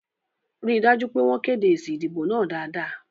Rí dájú pé wọ́n kéde èsì ìdìbò náà dáadáa